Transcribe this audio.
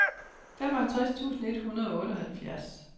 femoghalvtreds tusind et hundrede og otteoghalvfjerds